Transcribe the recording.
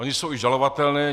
Ony jsou i žalovatelné.